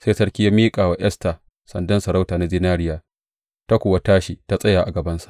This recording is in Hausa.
Sai sarki ya miƙa wa Esta sandan sarauta na zinariya, ta kuwa tashi ta tsaya a gabansa.